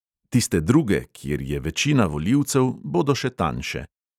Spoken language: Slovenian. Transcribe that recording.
Tiste druge, kjer je večina volivcev, bodo še tanjše.